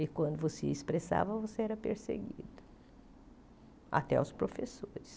E, quando você expressava, você era perseguido, até os professores.